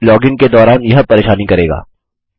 अब लॉगिन के दौरान यह परेशानी करेगा